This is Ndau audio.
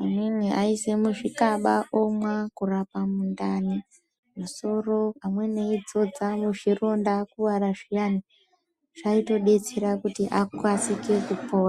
amweni aiise muzvikaba kurapa mundani, musoro. Amweni eidzodza muzvironda akuvara zviyani zvaitobatsire kuti akasike kupora.